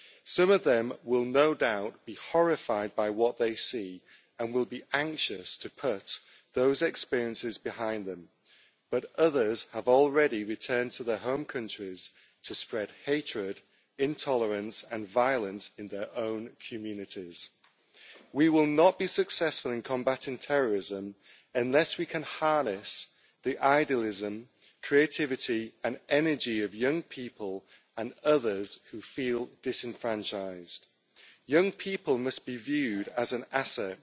Some of them will no doubt be horrified by what they see and will be anxious to put those experiences behind them, but others have already returned to their home countries to spread hatred, intolerance and violence in their own communities. We will not be successful in combating terrorism unless we can harness the idealism, creativity and energy of young people and others who feel disenfranchised. Young people must be viewed as an asset